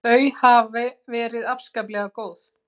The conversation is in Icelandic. Þau hafi verið afskaplega góð.